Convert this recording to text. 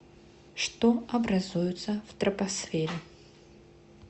что образуется в тропосфере